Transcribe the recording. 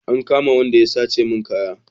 An kama Wanda ya sace mun kaya